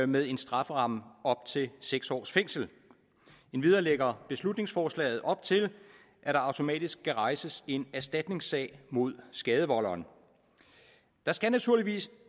med en strafferamme på op til seks års fængsel endvidere lægger beslutningsforslaget op til at der automatisk skal rejses en erstatningssag mod skadevolderen der skal naturligvis